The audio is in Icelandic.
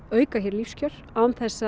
auka hér lífskjör án þess